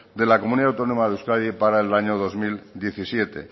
de la comunidad autónoma de euskadi para el año dos mil diecisiete